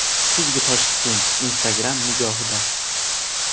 Kuzgi Toshkent Instagram nigohida.